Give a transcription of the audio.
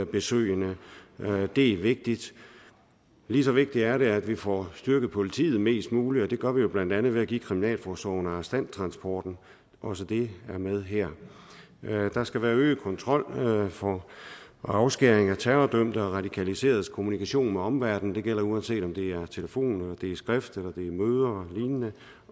besøgende det er vigtigt lige så vigtigt er det at vi får styrket politiet mest muligt og det gør vi jo blandt andet ved at give kriminalforsorgen arrestanttransporten også det er med her der skal være øget kontrol for afskæring af terrordømtes og radikaliseredes kommunikation med omverdenen det gælder uanset om det er via telefon skrift møder lignende